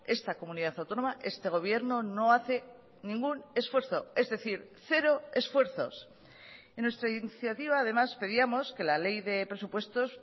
esta comunidad autónoma este gobierno no hace ningún esfuerzo es decir cero esfuerzos en nuestra iniciativa además pedíamos que la ley de presupuestos